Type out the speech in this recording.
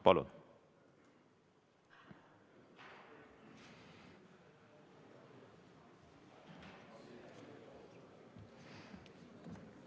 Palun!